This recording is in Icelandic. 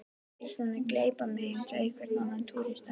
Ísland mun gleypa mig eins og hvern annan túrista.